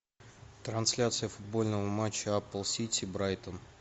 трансляция футбольного матча апл сити брайтон